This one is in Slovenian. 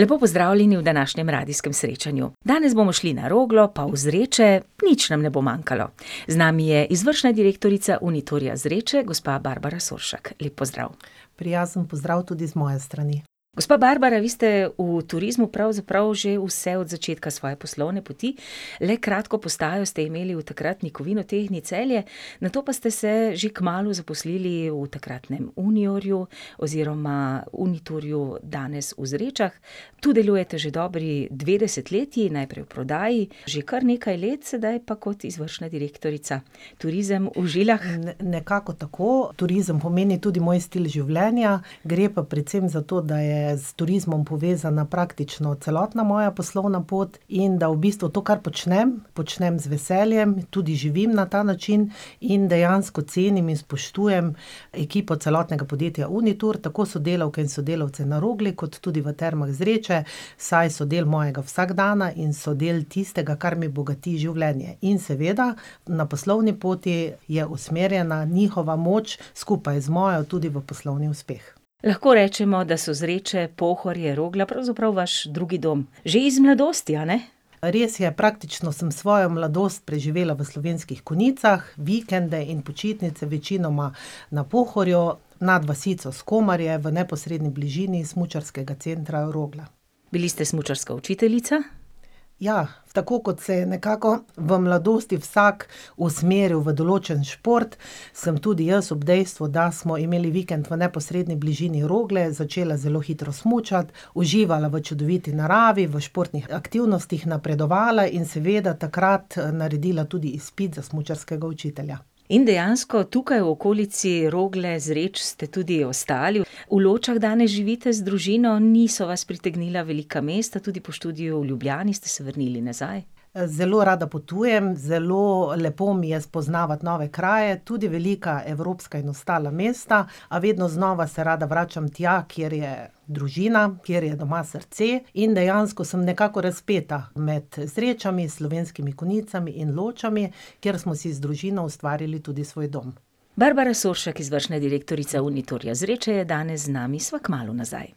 Lepo pozdravljeni v današnjem radijskem srečanju. Danes bomo šli na Roglo, pa v Zreče, nič nam ne bo manjkalo. Z nami je izvršna direktorica Uniturja Zreče, gospa Barbara Soršak. Lep pozdrav. Prijazen pozdrav tudi z moje strani. Gospa Barbara, vi ste v turizmu pravzaprav že vse od začetka svoje poslovne poti, le kratko postajo ste imeli v takratni Kovinotehni Celje, nato pa ste se že kmalu zaposlili v takratnem Uniurju oziroma Uniturju danes v Zrečah. Tu delujete že dobri dve desetletji, najprej v prodaji, že kar nekaj let sedaj po kot izvršna direktorica. Turizem v žilah. nekako tako, turizem pomeni tudi moj stil življenja, gre pa predvsem za to, da je s turizmom povezana praktično celotna moja poslovna pot in da v bistvu to, kar počnem, počnem z veseljem, tudi živim na ta način in dejansko cenim in spoštujem ekipo celotnega podjetja Unitur, tako sodelavke in sodelavce na Rogli, kot tudi v termah Zreče, saj so del mojega vsakdana in so del tistega, kar mi bogati življenje. In seveda na poslovni poti je usmerjena njihova moč skupaj z mojo tudi v poslovni uspeh. Lahko rečemo, da so Zreče, Pohorje, Rogla pravzaprav vaš drugi dom. Že iz mladosti, a ne? Res je, praktično sem svojo mladost preživela v Slovenskih Konjicah, vikende in počitnice večinoma na Pohorju, nad vasico Skomarje, v neposredni bližini smučarskega centra Rogla. Bili ste smučarska učiteljica. Ja, tako, kot se je nekako v mladosti vsak usmeril v določen šport, sem tudi jaz ob dejstvu, da smo imeli vikend v neposredni bližini Rogle, začela zelo hitro smučati, uživala v čudoviti naravi, v športnih aktivnostih napredovala in seveda takrat naredila tudi izpit za smučarskega učitelja. In dejansko tukaj v okolici Rogle, Zreč ste tudi ostali. V Ločah danes živite z družino, niso vas pritegnila velika mesta, tudi po študiju v Ljubljani ste se vrnili nazaj. zelo rada potujem, zelo lepo mi je spoznavati nove kraje, tudi velika evropska in ostala mesta, a vedno znova se rada vračam tja, kjer je družina, kjer je doma srce, in dejansko sem nekako razpeta med Zrečami, Slovenskimi Konjicami in Ločami, kjer smo si z družino ustvarili tudi svoj dom. Barbara Soršak, izvršna direktorica Uniturja Zreče je danes z nami, sva kmalu nazaj.